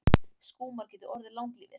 Skúmar geta orðið langlífir.